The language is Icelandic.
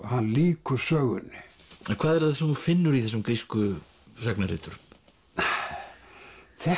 hann lýkur sögunni hvað er það sem þú finnur í þessum grísku sagnariturum þetta